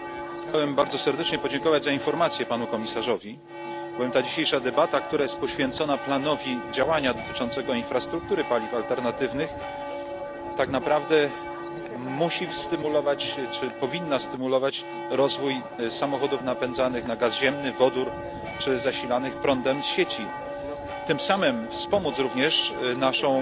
Chciałem bardzo serdecznie podziękować za informacje Panu Komisarzowi, bowiem dzisiejsza debata poświęcona planowi działania dotyczącemu infrastruktury paliw alternatywnych musi stymulować czy powinna stymulować rozwój samochodów napędzanych gazem ziemnym, wodorem lub zasilanych prądem z sieci, a tym samym wspomóc również naszą